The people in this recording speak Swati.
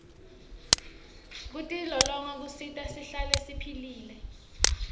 kutilolonga kusenta sihlale siphilile